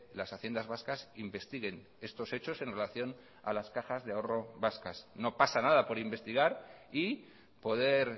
las haciendas vascas investiguen estos hechos en relación a las cajas de ahorro vascas no pasa nada por investigar y poder